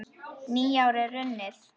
Nýár er runnið!